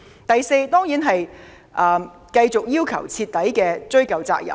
第四，當然是繼續要求徹底追究責任。